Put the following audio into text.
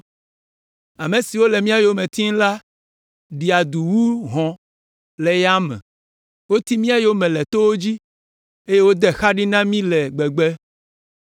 Ame siwo le mía yome tim la ɖia du wu hɔ̃ le yame; woti mía yome le towo dzi eye wode xa ɖi na mí le gbegbe.